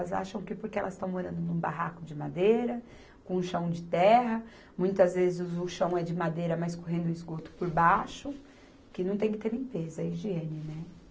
Elas acham que porque elas estão morando num barraco de madeira, com chão de terra, muitas vezes o chão é de madeira, mas correndo esgoto por baixo, que não tem que ter limpeza, higiene, né?